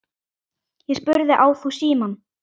Ég spurði: Á þú símann?